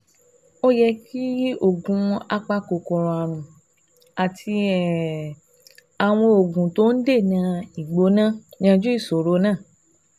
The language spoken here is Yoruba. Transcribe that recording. Ó yẹ kí oògùn apakòkòrò ààrùn àti um àwọn oògùn tó ń dènà ìgbóná yanjú ìṣòro náà